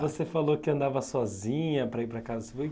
Você falou que andava sozinha para ir para casa.